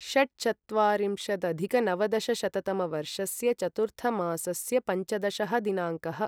षट्चत्वारिंशदधिकनवदशशततमवर्षस्य चतुर्थमासस्य पञ्चदशः दिनाङ्कः